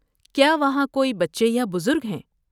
کیا وہاں کوئی بچے یا بزرگ ہیں؟